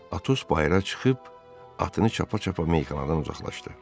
Atos bayıra çıxıb atını çapa-çapa meyxanadan uzaqlaşdı.